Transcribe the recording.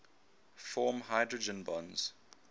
form hydrogen bonds